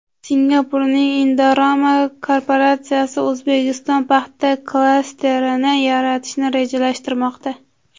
Singapurning Indorama korporatsiyasi O‘zbekistonda paxta klasterini yaratishni rejalashtirmoqda.